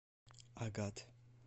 агат